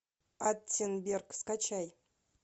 аттенберг скачай